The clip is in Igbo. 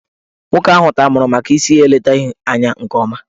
Nwoke ahụ tamuru maka isi ya eletaghị anya nke ọma.